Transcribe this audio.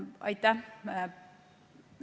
Aitäh!